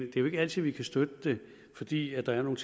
er jo ikke altid vi kan støtte det fordi der er nogle